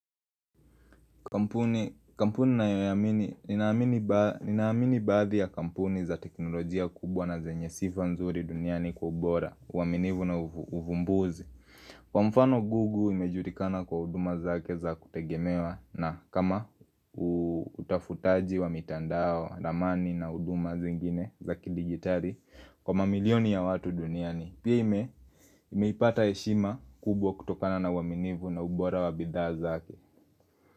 Kampuni nayoyaamini, ninaamini baadhi ya kampuni za teknolojia kubwa na zenye sifa nzuri duniani kwa ubora, uaminivu na uvumbuzi. Kwa mfano, Google imejulikana kwa huduma zake za kutegemewa na kama utafutaji wa mitandao, ramani na huduma zingine za kidigitari, kwa mamilioni ya watu duniani, pia imeipata heshima kubwa kutokana na uaminivu na ubora wa bidhaa zake.